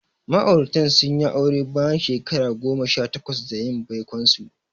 Ma'auratan sun yi aure bayan shekara goma sha takwas da yin baikonsu.